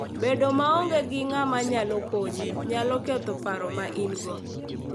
Bedo maonge gi ng'ama nyalo konyi, nyalo ketho paro ma in-go.